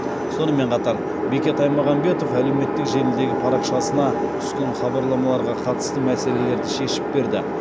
сонымен қатар бекет аймағамбетов әлеуметтік желідегі парақшасына түскен хабарламаларға қатысты мәселелерді шешіп берді